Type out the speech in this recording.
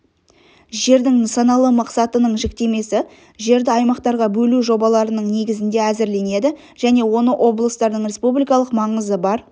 жердің нысаналы мақсатының жіктемесі жерді аймақтарға бөлу жобаларының негізінде әзірленеді және оны облыстардың республикалық маңызы бар